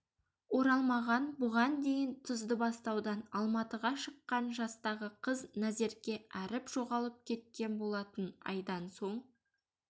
оралмаған бұған дейін тұздыбастаудан алматыға шыққан жастағы қыз назерке әріп жоғалып кеткен болатын айдан соң